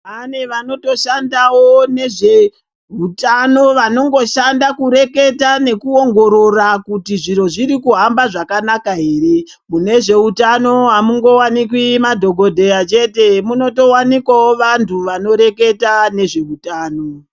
Pane vanotoshandawo nezvehutano vanongoshanda kureketa nekuongorora kuti zviro zviri kuhamba zvakanaka here. Mune zveutano hamungowanikwi madhokodheya chete, munotowanikwawo vantu vanoreketa nezvehutano.